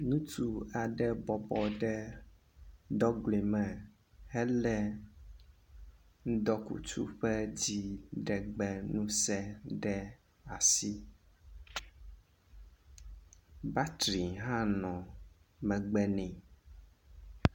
Ŋutsu aɖe bɔbɔ ɖe dɔgoe me hele ŋdɔkutsu ƒe dzi ɖegbe ɖe asi, battery hã nɔ megbe ne